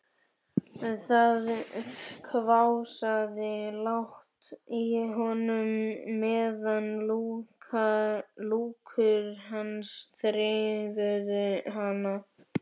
Það hvásaði lágt í honum meðan lúkur hans þreifuðu hana.